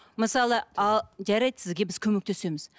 мысалы а жарайды сізге біз көмектесеміз